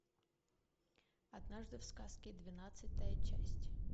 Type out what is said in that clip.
однажды в сказке двенадцатая часть